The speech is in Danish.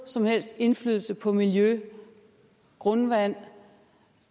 som helst indflydelse på miljø grundvand og